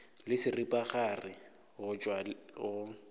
le seripagare go tšwa go